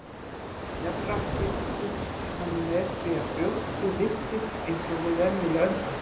Jafnframt fylgist hann með því að brjóstið lyftist eins og við venjulega öndun.